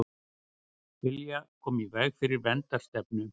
Vilja koma í veg fyrir verndarstefnu